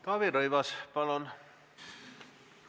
Taavi Rõivas, palun!